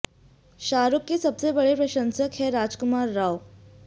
शाहरुख के सबसे बड़े प्रशंसक हैं राजकुमार राव